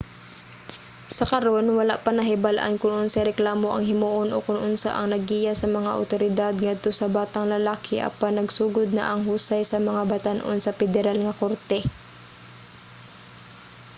sa karon wala pa nahibal-an kon unsay reklamo ang himuon o kon unsa ang naggiya sa mga awtoridad ngadto sa batang lalaki apan nagsugod na ang husay sa mga batan-on sa pederal nga korte